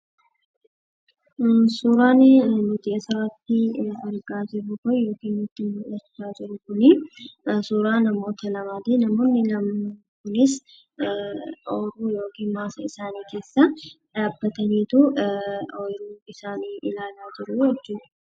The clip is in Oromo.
Suuraan nuti asirratti argaa jirru kun yookaan nutti mul'achaa jiru kun suuraa namoota lamaati. Namoonni lamaan kunis, ooyiruu yookaan maasaa isaanii keessa dhaabbataniitu ooyiruu isaanii ilaalaa jiru jechuudha.